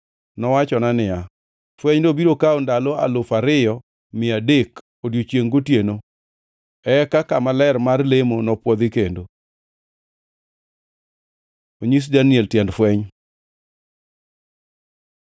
Nowachona niya, “Fwenyno biro kawo ndalo alufu ariyo mia adek odiechiengʼ gotieno; eka kama ler mar lemo nopwodhi kendo.” Onyis Daniel tiend fweny